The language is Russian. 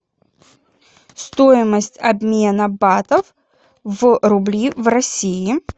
стоимость обмена батов в рубли в россии